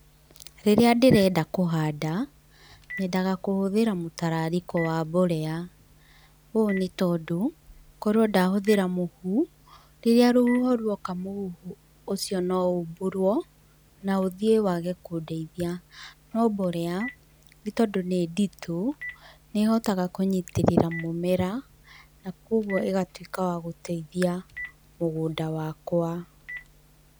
Rĩrĩa ndĩrenda kũhanda, nyendaga kũhũthĩra mũtararĩko wa mborea ũũ nĩ tondũ, korwo ndahũthĩra mũhu, rĩrĩa rũhuho rwoka, mũhu ũcio no ũmbũrwo na ũthie wage kũndeithia. No mborea nĩ tondũ nĩ nditũ, nĩ ĩhotaga kũnyitĩrĩra mũmera, na kũguo ĩgatũĩka wa gũteithia mũgũnda wakwa.